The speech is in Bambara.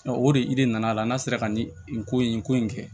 O de de nana a la n'a sera ka nin ko in ko in kɛ